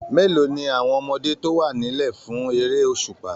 Mélòó ni àwọn ọmọdé tó wà nílẹ̀ fún eré òṣùpá?